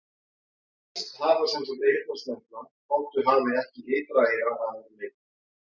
Hænsn hafa sem sagt eyrnasnepla þótt þau hafi ekki ytra eyra að öðru leyti.